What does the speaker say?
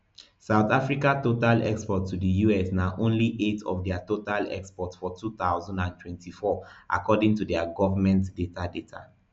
south africa total exports to di us na only eight of dia total exports for two thousand and twenty-four according to govment data data